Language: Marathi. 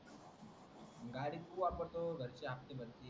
गाडी तू वापरतो घरचे हप्ते भरतील